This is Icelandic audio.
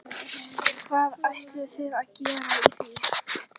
Hvað ætlum við að gera í því?